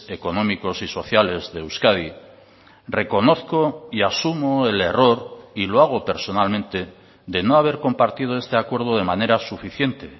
económicos y sociales de euskadi reconozco y asumo el error y lo hago personalmente de no haber compartido este acuerdo de manera suficiente